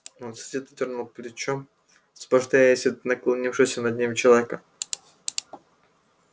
он сердито дёрнул плечом высвобождаясь от наклонившегося над ним человека